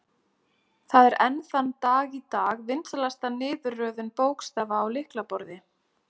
Það er enn þann dag í dag vinsælasta niðurröðun bókstafa á lyklaborð.